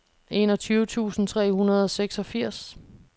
enogtyve tusind tre hundrede og seksogfirs